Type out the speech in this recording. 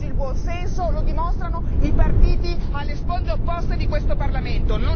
Oggi il buon senso lo dimostrano i partiti alle sponde opposte di questo Parlamento.